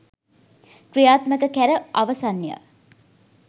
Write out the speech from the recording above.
ක්‍රියාත්මක කැර අවසන්ය